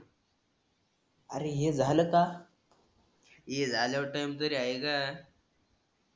अरे हे झाल का? ही झाल्यावर टाईम तरी हाय का